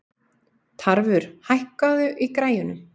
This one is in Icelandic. Tarfur, hækkaðu í græjunum.